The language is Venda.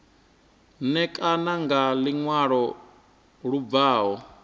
ṋekane nga luṅwalo lu bvaho